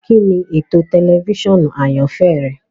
Kini eto tẹlifisiọnu ayanfẹ rẹ?